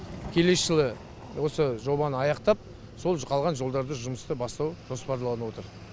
келесі жылы осы жобаны аяқтап сол қалған жолдарды жұмысты бастау жоспарланып отыр